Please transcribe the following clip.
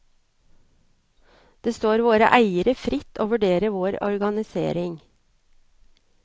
Det står våre eiere fritt å vurdere vår organisering.